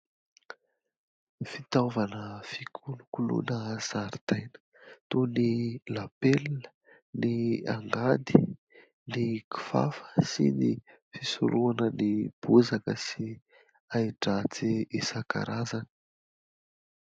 Fitaovana fikolokoloina zaridaina toy ny : lapelina , ny angady , ny kifafa , sy ny fisorohana ny bozaka sy hai-dratsy isan-karazany.